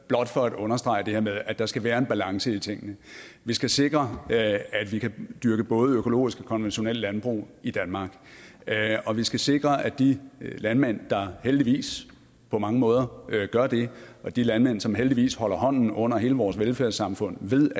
blot for at understrege det her med at der skal være en balance i tingene vi skal sikre at vi kan dyrke både økologisk og konventionelt landbrug i danmark og vi skal sikre at de landmænd der heldigvis på mange måder gør det og de landmænd som heldigvis holder hånden under hele vores velfærdssamfund ved